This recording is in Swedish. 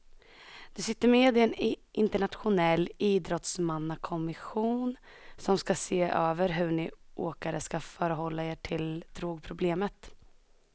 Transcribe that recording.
Du sitter med i en internationell idrottsmannakommission som ska se över hur ni åkare ska förhålla er till drogproblemet.